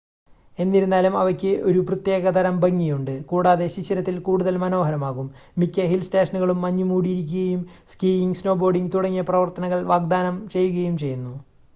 എന്നിരുന്നാലും അവയ്ക്ക് ഒരു പ്രത്യേകതരം ഭംഗിയുണ്ട് കൂടാതെ ശിശിരത്തിൽ കൂടുതൽ മനോഹരമാകും മിക്ക ഹിൽ സ്റ്റേഷനുകളും മഞ്ഞുമൂടിയിരിക്കുകയും സ്കീയിംഗ് സ്നോബോർഡിംഗ് തുടങ്ങിയ പ്രവർത്തനങ്ങൾ വാഗ്ദാനം ചെയ്യുകയും ചെയ്യുന്നു